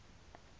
state of the